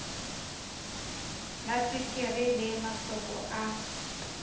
la tswekere le mahloko a